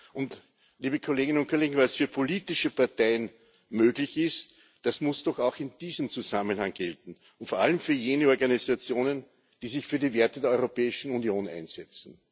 Und, liebe Kolleginnen und Kollegen, was für politische Parteien möglich ist, das muss doch auch in diesem Zusammenhang gelten und vor allem für jene Organisationen, die sich für die Werte der Europäischen Union einsetzen.